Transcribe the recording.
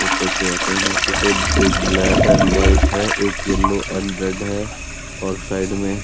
ऊपर से आते हुए एक ब्लैक एण्ड व्हाइट है एक येलो एण्ड रेड है और साइड में --